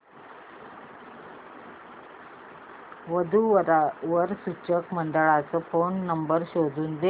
वधू वर सूचक मंडळाचा फोन नंबर शोधून दे